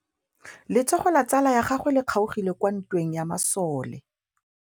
Letsôgô la tsala ya gagwe le kgaogile kwa ntweng ya masole.